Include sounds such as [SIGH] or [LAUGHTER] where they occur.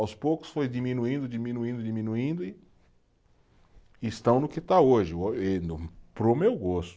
Aos poucos foi diminuindo, diminuindo, diminuindo e estão no que está hoje, [UNINTELLIGIBLE] para o meu gosto.